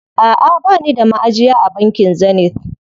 Aʼa bani da maʼajiya a bankin Zenith.